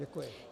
Děkuji.